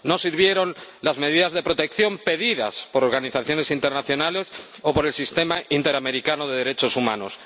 No sirvieron las medidas de protección pedidas por organizaciones internacionales o por el Sistema Interamericano de Derechos Humanos.